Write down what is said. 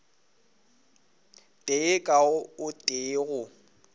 tee ka o tee go